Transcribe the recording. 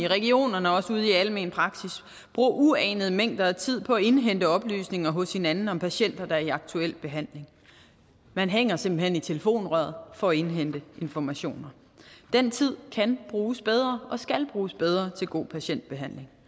regionerne og også ude i almen praksis bruger uanede mængder af tid på at indhente oplysninger hos hinanden om patienter der er i aktuel behandling man hænger simpelt hen i telefonen for at indhente informationer den tid kan bruges bedre og skal bruges bedre til god patientbehandling